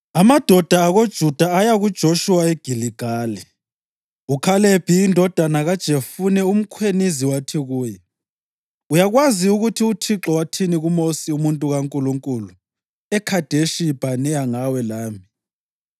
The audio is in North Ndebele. Amadoda akoJuda aya kuJoshuwa eGiligali, uKhalebi indodana kaJefune umKhenizi wathi kuye, “Uyakwazi ukuthi uThixo wathini kuMosi umuntu kaNkulunkulu eKhadeshi Bhaneya ngawe lami.